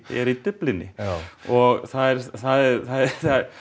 er Dyflinni já og það er það er